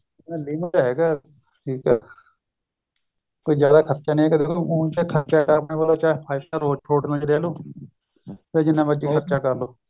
limit ਚ ਹੈਗਾ ਠੀਕ ਏ ਕੋਈ ਜਿਆਦਾ ਖਰਚਾ ਨਹੀਂ ਹੈਗਾ ਦੇਖੋ ਹੂੰ ਚਾਹੇ ਕਰਲੋ five star ਹੋਟਲਾਂ ਵਿੱਚ ਰਹਿ ਲੋ ਚਾਹੇ ਜਿੰਨਾ ਮਰਜੀ ਖਰਚਾ ਕਰਲੋ